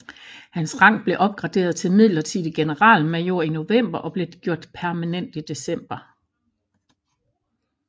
Hans rang blev opgraderet til midlertidig generalmajor i november og blev gjort permanent i december